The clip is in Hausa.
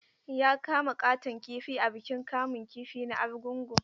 Ya kama ƙaton kifi a bikin kamun kifi na Argungu.